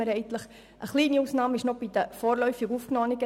Eine kleine Ausnahme sind die vorläufig Aufgenommenen.